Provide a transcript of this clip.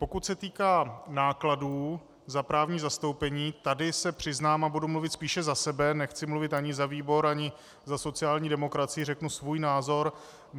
Pokud se týká nákladů za právní zastoupení, tady se přiznám, a budu mluvit spíše za sebe, nechci mluvit ani za výbor ani za sociální demokracii, řeknu svůj názor.